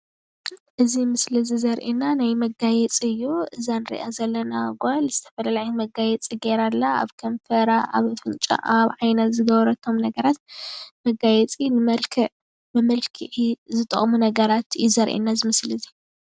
ናይ ዓይኒ፣ ሰኒ፣ ኣፍንጫ ዝግበሩ መመላኽዒ የርኢ።